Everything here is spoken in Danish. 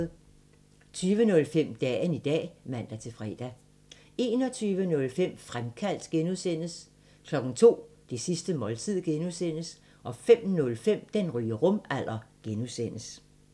20:05: Dagen i dag (man-fre) 21:05: Fremkaldt (G) 02:00: Det sidste måltid (G) 05:05: Den nye rumalder (G)